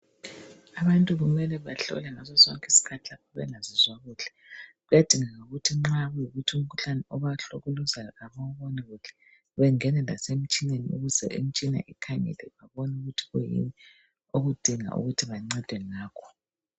Abantu kumele bahlolwe ngaso sonke isikhathi lapho bengazizwa kuhle kuyadingeka ukuthi nxakuyikuthi umkhuhlane obahlukuluzayo abawuboni kuhle bangene lasemtshineni ukuze imitshina ikhangela ibone ukuthi kuyini okudinga ukuthi bancede ngakho.